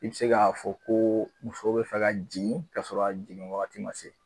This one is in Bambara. I be se k'a fɔ ko muso be fɛ ka jigin ka sɔrɔ a jigin wagati ma se